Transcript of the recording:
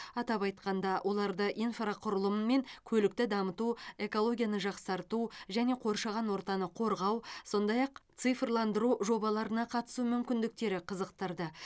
атап айтқанда оларды инфрақұрылым мен көлікті дамыту экологияны жақсарту және қоршаған ортаны қорғау сондай ақ цифрландыру жобаларына қатысу мүмкіндіктері қызықтырды